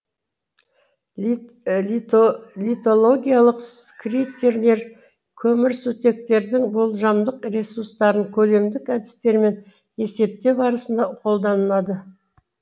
литологиялық критерийлер көмірсутектердің болжамдық ресурстарын көлемдік әдістермен есептеу барысында қолданылады